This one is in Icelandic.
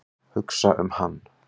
Hugsa um hann.